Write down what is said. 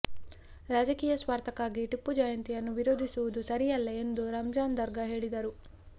ರಾಜಕೀಯ ಸ್ವಾರ್ಥಕ್ಕಾಗಿ ಟಿಪ್ಪು ಜಯಂತಿಯನ್ನು ವಿರೋಧಿಸುವುದು ಸರಿಯಲ್ಲ ಎಂದು ರಂಜಾನ್ ದರ್ಗಾ ಹೇಳಿದರು